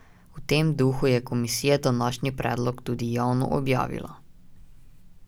V tem duhu je komisija današnji predlog tudi javno objavila.